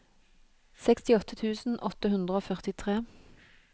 sekstiåtte tusen åtte hundre og førtitre